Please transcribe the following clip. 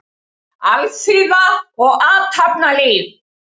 Alþýða og athafnalíf.